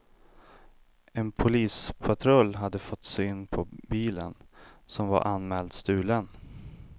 En polispatrull hade fått syn på bilen, som var anmäld stulen.